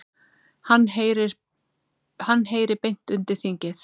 Hann heyri beint undir þingið.